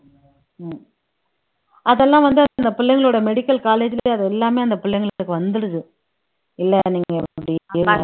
அதெல்லாம் வந்து அந்த பிள்ளைங்களோட medical college லயே அது எல்லாமே அந்த பிள்ளைங்களுக்கு வந்துடுது இல்லை நீங்க அப்படி